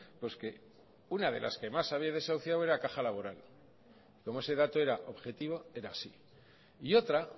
pues que una de las que más había desahuciado era caja laboral como ese dato era objetivo era así y otra